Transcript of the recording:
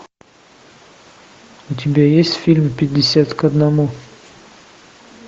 у тебя есть фильм пятьдесят к одному